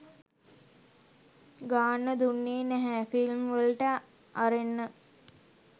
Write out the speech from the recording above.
ගාන්න දුන්නේ නැහැ ෆිල්ම්වලට අරෙන්න.